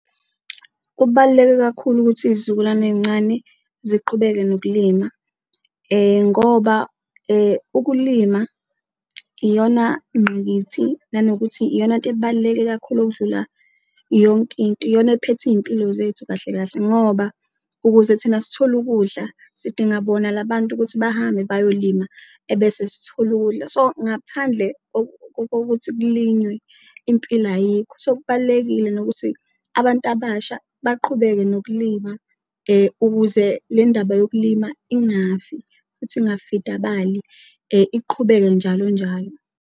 Kubaluleke kakhulu ukuthi izizukulwane ey'ncane ziqhubeke nokulima ngoba ukulima iyona ngqikithi nanokuthi iyonanto ebaluleke kakhulu okudlula yonke into, iyona ephethe iy'mpilo zethu kahle kahle ngoba ukuze thina sithole ukudla sidinga bona la bantu ukuthi bahambe bayolima ebese sithole ukudla. So, ngaphandle kokuthi kulinywe impilo ayikho so, kubalulekile nokuthi abantu abasha baqhubeke nokulima ukuze le ndaba yokulima ingafi futhi ingafidabali, iqhubeke njalo njalo.